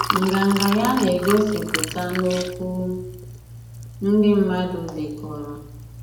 Nganga ya na-egosipụta n'okwu ndị mmadụ dekọrọ.